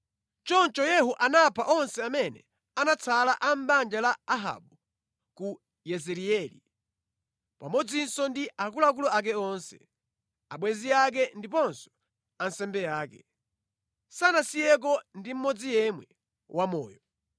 Choncho Yehu anapha onse amene anatsala a mʼbanja la Ahabu ku Yezireeli, pamodzinso ndi akuluakulu ake onse, abwenzi ake ndiponso ansembe ake, sanasiyeko ndi mmodzi yemwe wamoyo.